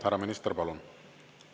Härra minister, palun!